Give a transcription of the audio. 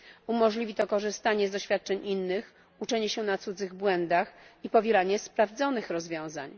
Umożliwi to korzystanie z doświadczeń innych, uczenie się na cudzych błędach i powielanie sprawdzonych rozwiązań.